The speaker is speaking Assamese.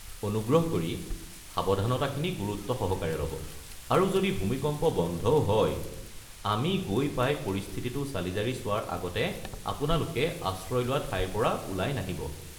অনুগ্ৰহ কৰি সাৱধানতাখিনি গুৰুত্ব সহকাৰে ল'ব আৰু যদি ভূমিকম্প বন্ধও হয়, আমি গৈ পাই পৰিস্থিতিটো চালিজাৰি চোৱাৰ আগতে আপোনালোকে আশ্ৰয় লোৱা ঠাইৰ পৰা ওলাই নাহিব।